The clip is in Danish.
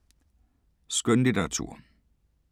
Skønlitteratur